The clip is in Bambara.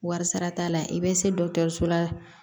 Wari sara t'a la i bɛ se la